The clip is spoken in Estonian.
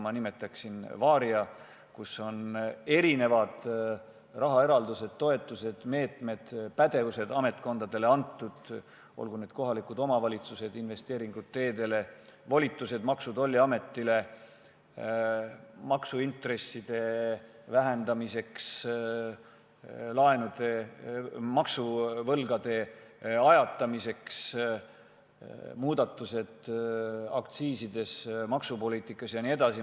Ma nimetaksin seda varia’ks ning see hõlmab mitmesuguseid rahaeraldusi, toetusi, meetmeid, ametkondadele antud pädevusi – olgu need kohalikud omavalitsused, investeeringud teedesse, volitused Maksu- ja Tolliametile maksuintresside vähendamiseks, laenude ja maksuvõlgade ajatamiseks, muudatused aktsiisides, maksupoliitikas jne.